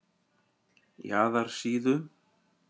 Jaðarsíðu